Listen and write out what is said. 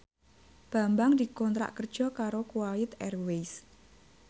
Bambang dikontrak kerja karo Kuwait Airways